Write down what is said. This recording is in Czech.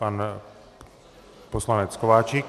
Pan poslanec Kováčik.